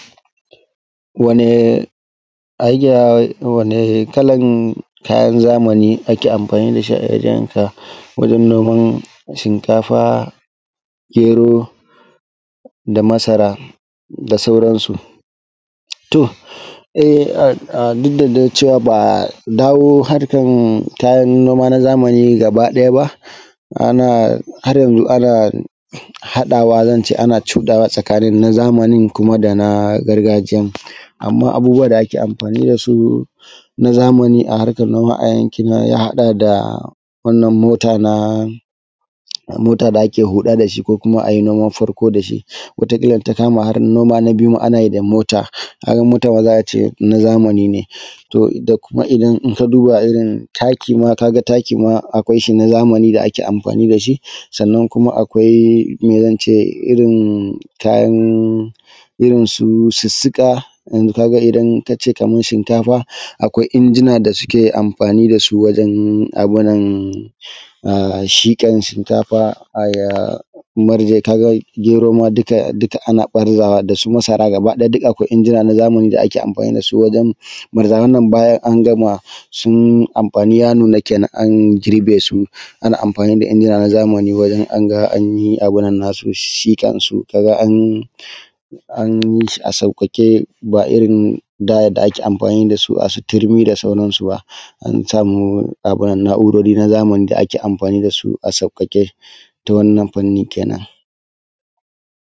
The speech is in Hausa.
wani hanyan wani kalan kayan zamani ake amfani da shi a wajen ka wajen noman shinkafa, gero, da masara da sauransu, to ai a duk da dai cewa ba dawo harkan noma na zamani gaba ɗaya ba ana har yanzu ana haɗawa zan ce ana cuɗawa tsakanin na zamanin kuma da na gargajiya amma abubuwan da ake amfani da su na zamani a harkar noma a yankin na ya haɗa da wannan mota na mota da ake huɗa da shi ko kuma ayi noman farko da shi wataƙila in ta kamahar noma na biyu ma ana yi da wannan mota, mota za a ce na zamani to da kuma idan in duba kuma taki kuma idan taki ma akwai shi na zamani da ake amfani da shi sannan kuma akwai mai zance irin kayan irin su sissuka kaga idan shinkafa akwai injina da suke amfani da su wajen abunan a shiƙan shinkafa a mirje kaga gero ma dukka dukka ana ɓarzawa da su masara gaba ɗaya duk akwai injina na zamani da ake amfani da su wajen ɓarza wannan bayan an gama su amfani ya nuna kenan an girbe su ana amfani da injina na zamani wajen anga ayi abin nan nasu shiƙan su wai an an yi shi a sauƙaƙe ba irin da da ake amfani da su a su turmi da sauran su ba an samu abin nan na`urori na zamani da ake amfani da su a sauƙaƙe ta wannan fanni kenan.